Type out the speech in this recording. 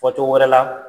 Fɔcogo wɛrɛ la